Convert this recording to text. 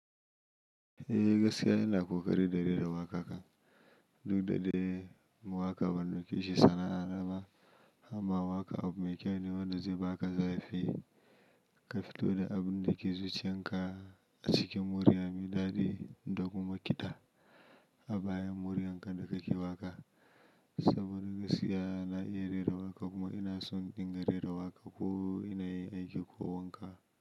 Eh, gaskiya ina ƙoƙari da rera waƙa kan duk da dai mu waƙa ban ɗauke shi sana'a naba, amma waƙa abu mai kyau ne wanda zai baka zarifi, ka fito da abun da ke zuciyakan a cikin muryar mai dadai da kuma ƙida a bayan muryar ka da ka ke waƙa. Saboda gaskiya na iya rera waƙa kuma ina son dinga rera waƙa ko yanayin yin aiki ko wanka.